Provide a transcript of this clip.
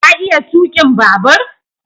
ka iya tukin babur?